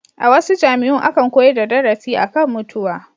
A wasu jami'un akan koyar da darasi a kan mutuwa.